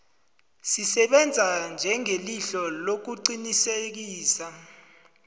zisebenza njengelihlo lokuqinisekisa